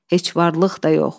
Heç varlıq da yox.